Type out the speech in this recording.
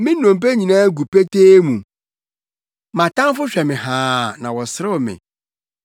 Me nnompe nyinaa gu petee mu; Mʼatamfo hwɛ me haa na wɔserew me.